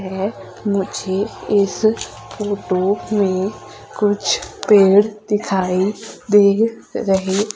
है मुझे इस फोटो में कुछ पेड़ दिखाई दे रहे--